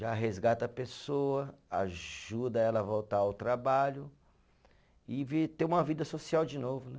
Já resgata a pessoa, ajuda ela a voltar ao trabalho e vi, ter uma vida social de novo, né?